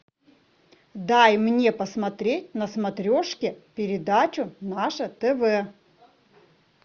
дай мне посмотреть на смотрешке передачу наше тв